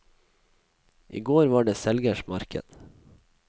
I går var det selgers marked.